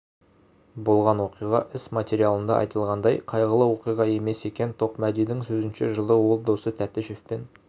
болған оқиға іс материалында айтылғандай қайғылы оқиға емес екен тоқмәдидің сөзінше жылы ол досы тәтішевпен